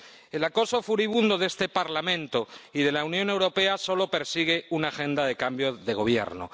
El acoso furibundo de este Parlamento y de la Unión Europea solo persigue una agenda de cambios de gobierno